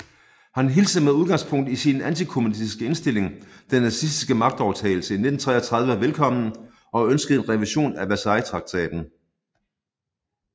Han hilste med udgangspunkt i sin antikommunistiske indstilling den nazistiske magtovertagelse i 1933 velkommen og ønskede en revision af Versaillestraktaten